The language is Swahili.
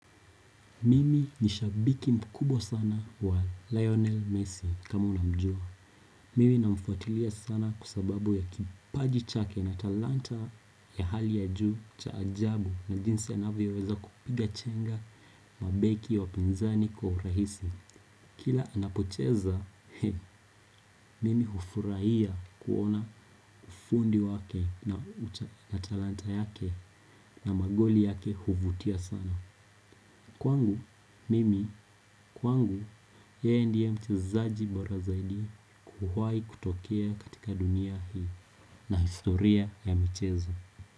Mimi ni shabiki mkubwa sana wa Lionel Messi kama unamjua. Mimi na mfuatilia sana kwa sababu ya kipaji chake na talanta ya hali ya juu cha ajabu na jinsie anavyo weza kupiga chenga mabeki wapinzani kwa urahisi. Kila anapocheza, mimi hufurahia kuona ufundi wake na talanta yake na magoli yake huvutia sana. Kwangu, mimi, kwangu, yeye ndie mchezaji bora zaidi kuwahi kutokea katika dunia hii na historia ya michezo.